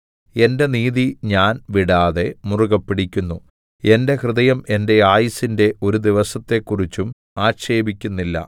എന്റെ നീതി ഞാൻ വിടാതെ മുറുകെ പിടിക്കുന്നു എന്റെ ഹൃദയം എന്റെ ആയുസ്സിന്റെ ഒരു ദിവസത്തെക്കുറിച്ചും ആക്ഷേപിക്കുന്നില്ല